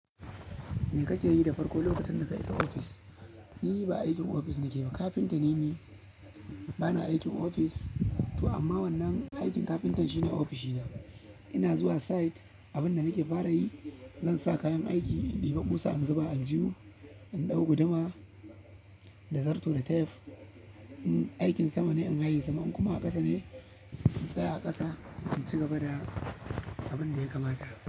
Me kake yi da farko lokacin da ka isa ofis? Ni ba aikin ofis nake ba, kafinta ne ni. Bana aikin ofis to amma wannan aikin kafintan shine ofishi na. Ina zuwa site, abin da nake fara yi zan sa kayan aiki, in ɗiba ƙusa, in zuba aljihu, in ɗau guduma da zarto da tape. In aikin sama ne, in haye sama, in kuma a ƙasa ne, in tsaya a ƙasa in ci gaba da abin da ya kamata.